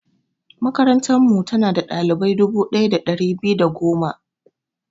Makarantarmu, tana da ɗalibai dubu ɗaya da ɗari biyu da goma.